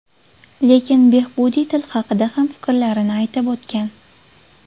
Lekin Behbudiy til haqida ham fikrlarini aytib o‘tgan.